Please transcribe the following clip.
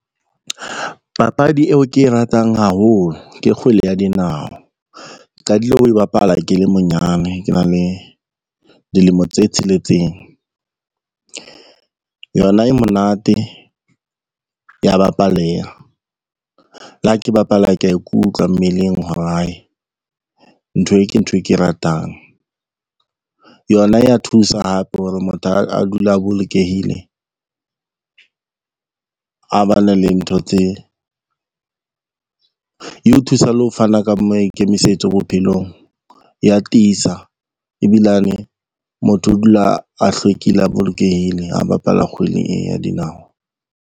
Papadi eo ke e ratang haholo ke kgwele ya dinao, qadile ho e bapala ke le monyane ke na le dilemo tse tsheletseng. Yona e monate ya bapaleha, le ha ke bapala kea ikutlwa mmeleng hore hai nthwe ke ntho e ke ratang. Yona ya thusa hape hore motho a dule a bolokehile, eo thusa le ho fana ka maikemisetso bophelong, ya tiisa, ebilane motho o dula a hlwekile a bolokehile ha bapala kgwele e ya dinao.